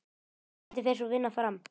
Hvernig fer sú vinna fram?